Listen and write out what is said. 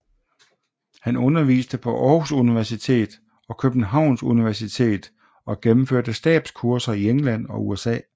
Han underviste på Aarhus Universitet og Københavns Universitet og gennemførte stabskurser i England og USA